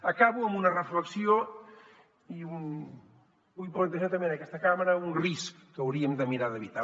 acabo amb una reflexió i vull plantejar també en aquesta cambra un risc que hauríem de mirar d’evitar